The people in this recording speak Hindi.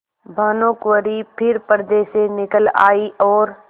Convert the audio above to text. भानुकुँवरि फिर पर्दे से निकल आयी और